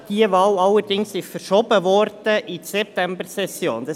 Diese Wahl wurde allerdings in die Septembersession verschoben;